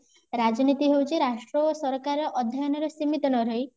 ରାଜନୀତି ହେଉଚି ରାଷ୍ଟ୍ର ଓ ସରକାର ଅଧ୍ୟୟନ ରେ ସୀମିତ ନରହି